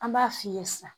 An b'a f'i ye sa